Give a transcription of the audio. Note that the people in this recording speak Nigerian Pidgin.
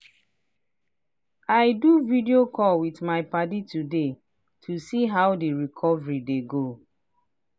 i do video call with my padi today to see how the recovery dey go.